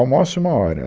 Almoça uma hora.